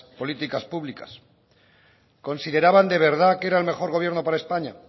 políticas públicas consideraban de verdad que era el mejor gobierno para españa